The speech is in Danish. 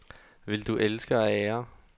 Vil du elske og ære?